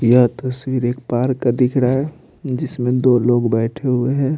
यह तस्वीर एक पार्क का दिख रहा है जिसमें दो लोग बैठे हुए हैं।